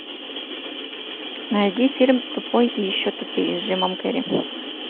найди фильм тупой и еще тупее с джимом керри